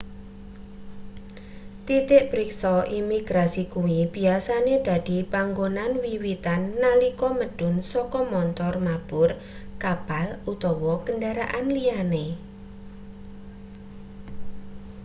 titik priksa imigrasi kuwi biyasane dadi panggonan wiwitan nalika medhun saka montor mabur kapal utawa kendharaan liyane